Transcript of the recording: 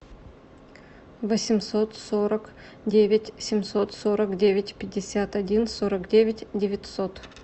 восемьсот сорок девять семьсот сорок девять пятьдесят один сорок девять девятьсот